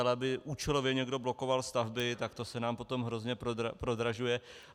Ale aby účelově někdo blokoval stavby, tak to se nám potom hrozně prodražuje.